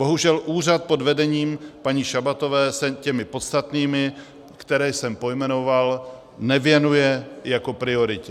Bohužel úřad pod vedením paní Šabatové se těm podstatným, které jsem pojmenoval, nevěnuje jako prioritě.